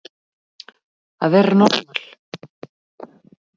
Að vera normal